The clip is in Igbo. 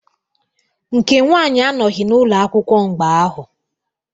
Nke nwanyị anọghị n'ụlọakwụkwọ mgbe ahụ.